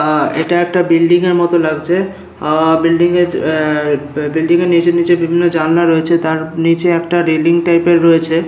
আহ এটা একটা বিল্ডিং এর মতো লাগছে আহ বিল্ডিং এর এ এ বিল্ডিং এর নিচে নিচে বিভিন্ন জানলা রয়েছে তার নিচে একটা রেইলিং টাইপের রয়েছে।